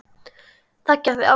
Það gerði Árný.